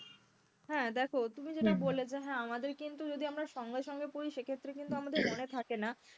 হ্যাঁ দেখো তুমি যেটা বললে যে হ্যাঁ আমাদের কিন্তু যদি আমরা সঙ্গে সঙ্গে পড়ি সেক্ষেত্রে কিন্তু আমাদের মনে থাকে না,